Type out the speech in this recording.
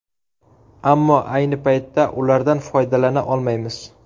Ammo ayni paytda ulardan foydalana olmaymiz.